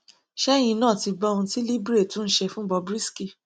ṣẹyìn náà ti gbọ ohun tí libre tún ṣe fún bob risky